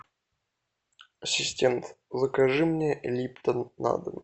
ассистент закажи мне липтон на дом